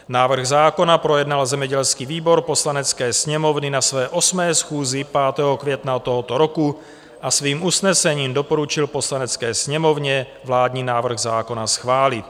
Návrh zákona projednal zemědělský výbor Poslanecké sněmovny na své 8. schůzi 5. května tohoto roku a svým usnesením doporučil Poslanecké sněmovně vládní návrh zákona schválit.